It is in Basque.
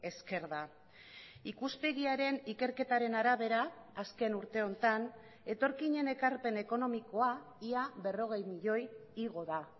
esker da ikuspegiaren ikerketaren arabera azken urte honetan etorkinen ekarpen ekonomikoa ia berrogei milioi igo da